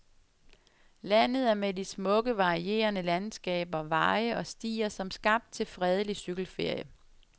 Landet er med de smukke, varierende landskaber, veje og stier som skabt til fredelig cykelferie.